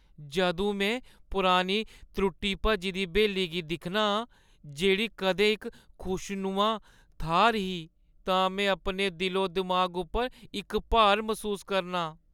जदूं में पुरानी त्रुट्टी-भज्जी दी ब्हेली गी दिक्खना आं, जेह्ड़ी कदें इक खुशनुमा थाह्‌र ही तां में अपने दिलो-दिमाग उप्पर इक भार मसूस करनां।